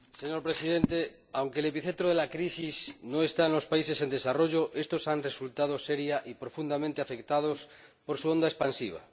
Señor Presidente, aunque el epicentro de la crisis no está en los países en desarrollo, éstos han resultado seria y profundamente afectados por su onda expansiva.